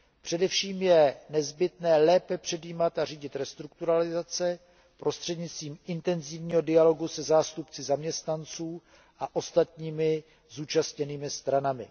Především je nezbytné lépe předjímat a řídit restrukturalizace prostřednictvím intenzivního dialogu se zástupci zaměstnanců a ostatními zúčastněnými stranami.